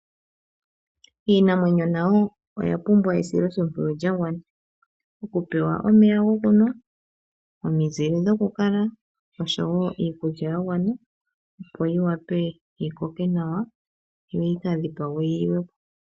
Iinamwenyo nayo oya pumbwa esiloshimpwiyu lya gwana. Okupewa omeya gokunwa, omizile dhokukala noshowo iikulya ya gwana yo yi vule yi koke nawa yoyi kadhipagwe yi liwe po.